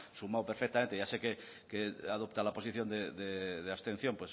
sumado perfectamente ya sé que adopta la posición de abstención